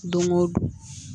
Don go don